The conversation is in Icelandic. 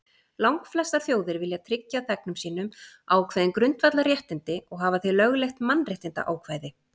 Langflestar þjóðir vilja tryggja þegnum sínum ákveðin grundvallarréttindi og hafa því lögleitt mannréttindaákvæði.